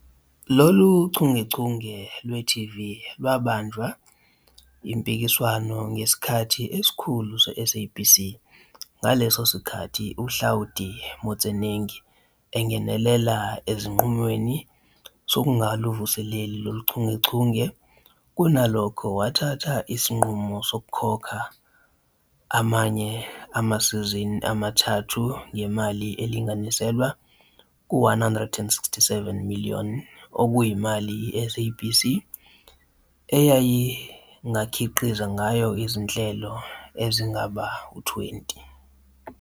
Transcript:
Lolu chungechunge lwe-TV lwabanjwa mpikiswano ngesikhathi isikhulu se- SABC ngaleso sikhathi uHlaudi Motsoeneng engenelela esinqumweni sokungaluvuseleli lolu chungechunge, kunalokho wathatha isinqumo sokukhokha amanye amasizini amathathu ngemali elinganiselwa ku-R167 million, okuyimali "i-SABC eyayingakhiqiza ngayo izinhlelo ezingaba ngu-20".